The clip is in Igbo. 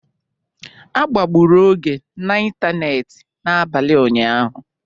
A kpagburu Oge n'ịntanetị n'abalị ụnyaahụ?